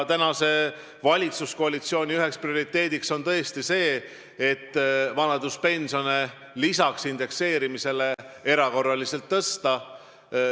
Praeguse valitsuskoalitsiooni üks prioriteet on tõesti see, et vanaduspensione lisaks indekseerimisele ka erakorraliselt tõsta.